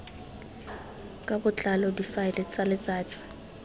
ka botlalo difaele tsa letsatsi